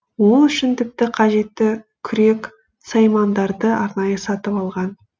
ол үшін тіпті қажетті күрек саймандарды арнайы сатып алған